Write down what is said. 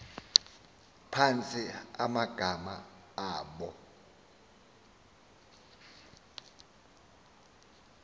phantsi amagama abo